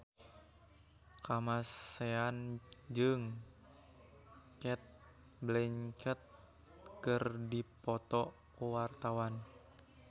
Kamasean jeung Cate Blanchett keur dipoto ku wartawan